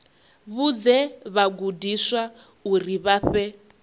vhudze vhagudiswa uri vha fhe